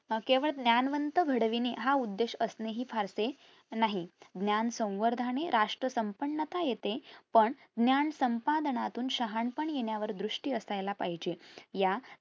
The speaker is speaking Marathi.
केवळ ज्ञानवंत घडविणे हा उद्देश असणेहि फारसे नाही ज्ञान संवर्धने राष्ट्र संपन्नता येते पण ज्ञान संपादनातून शहाणपण येण्यावर दृष्टी असयला पाहिजे या